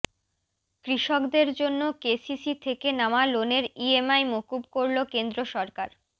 কৃষকদের জন্য কেসিসি থেকে নেওয়া লোণের ইএমআই মকুব করল কেন্দ্র সরকার